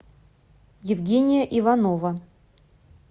евгения иванова